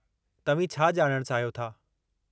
तव्हीं छा ॼाणणु चाहियो था?